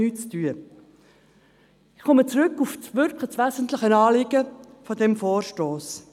Ich komme zurück auf das wirklich wesentliche Anliegen dieses Vorstosses.